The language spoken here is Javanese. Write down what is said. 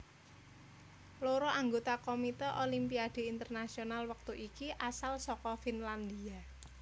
Loro anggota Komite Olimpiade Internasional wektu iki asal saka Finlandia